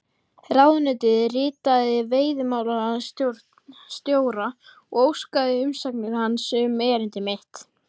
Ráðuneytið ritaði veiðimálastjóra og óskaði umsagnar hans um erindi mitt.